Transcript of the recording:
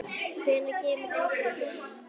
Hvenær kemur pabbi heim?